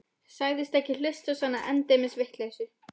Sagðist ekki hlusta á svona endemis vitleysu.